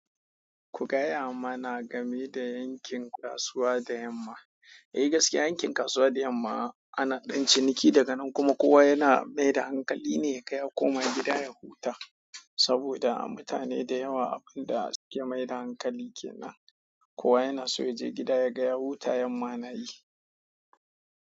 Ku gaya mana game da yankin kasuwa da yamma. Eh gaskiya yankin kasuwa da yamma, ana ɗan ciniki daga nan kuma kowa yana maida hankali ne yaga ya koma gida ya huta saboda mutane da yawa abun da suke maida hankali ke nan. Kowa yanaso yaje gida, ya ga ya huta yamma nayi.